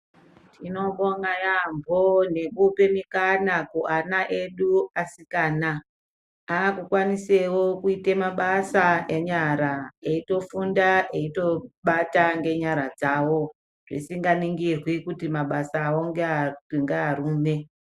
Tinobonga yambo ngekupa mukana kuvana edu asikana akukwanisawo kuite mabasa enyara etofunda eitobate ngenyara dzavo zvisinganingirwi kuti mabasawo ngevarume .